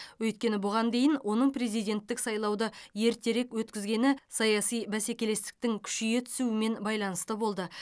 өйткені бұған дейін оның президенттік сайлауды ертерек өткізгені саяси бәсекелестіктің күшейе түсуімен байланысты болды